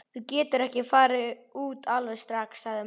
Þú getur ekki farið út alveg strax, sagði mamma.